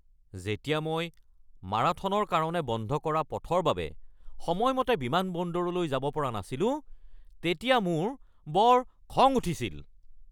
যেতিয়া মই মাৰাথনৰ কাৰণে বন্ধ কৰা পথৰ বাবে সময়মতে বিমানবন্দৰলৈ যাব পৰা নাছিলো তেতিয়া মোৰ বৰ খং উঠিছিল।